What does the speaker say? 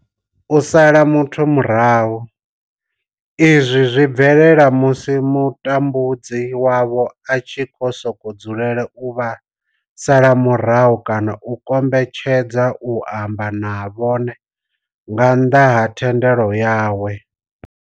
U sala muthu murahu, izwi zwi bvelela musi mutambudzi wavho a tshi sokou dzulela u vha sala murahu kana a kombetshedza u amba na vhone nga nnḓa ha thendelo yavho.